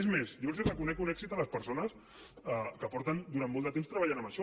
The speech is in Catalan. és més jo els reconec un èxit a les persones que porten durant molt de temps treballant en això